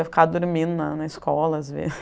Eu ficava dormindo na na escola, às